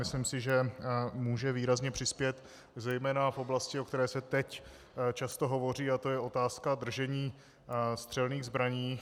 Myslím si, že může výrazně přispět zejména v oblasti, o které se teď často hovoří, a to je otázka držení střelných zbraní.